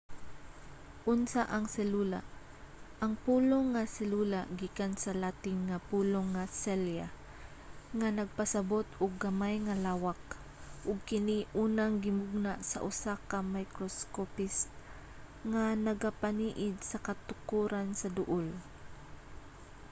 unsa ang selula? ang pulong nga selula gikan sa latin nga pulong nga cella nga nagpasabut og gamay nga lawak ug kini unang gimugna sa usa ka microscopist nga nagapaniid sa katukoran sa duul